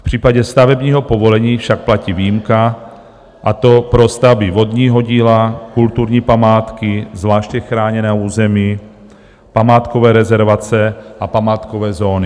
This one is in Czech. V případě stavebního povolení však platí výjimka, a to pro stavby vodního díla, kulturní památky, zvláště chráněného území památkové rezervace a památkové zóny.